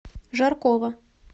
жаркова